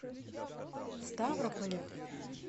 ставрополя